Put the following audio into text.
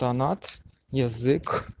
донат язык